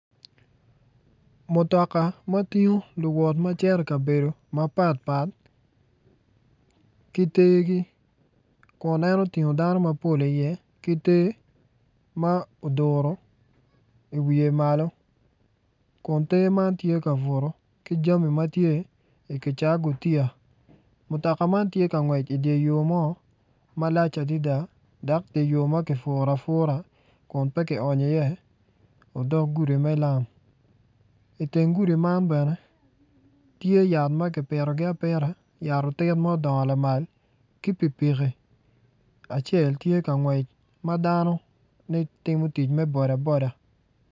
Mutoka ma tingo luwot ma cito i kabedo mapatpat ki tegi kun en otingo dano mapol iye ki te ma oduro iwiye malo kun te man tye kabuto ki jami ma tye ikicaa gutiya mutoka man tye ka ngwec idye yo mo malac adada dok dye yo ma kipuro apura kun pe kionyo iye odok gudi me lam iteng gudi man bene tye yat ma kipitogi apita yat otit ma odongo lamal ki pikipiki acel tye ka ngwec ma danoni timo tic me boda boda.